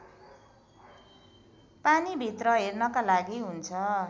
पानीभित्र हेर्नका लागि हुन्छ